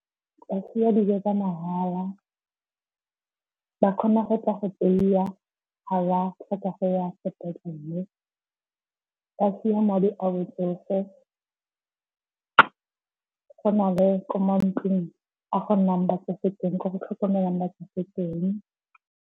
Go fiwa dijo tsa mahala, ba kgona go tla go tseiwa ga ba tlhoka go ya sepetlele, ba fiwa madi a batsofe. Go na le kwa mantlong a go nnang batsofe teng, ko go tlhokomelwang batsofe teng.